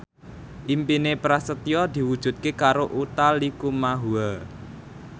impine Prasetyo diwujudke karo Utha Likumahua